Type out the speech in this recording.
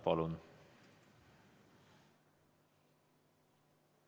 Palun!